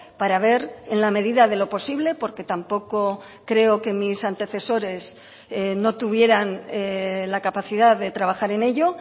para ver en la medida de lo posible porque tampoco creo que mis antecesores no tuvieran la capacidad de trabajar en ello